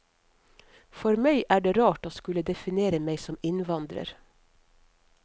For meg er det rart å skulle definere meg som innvandrer.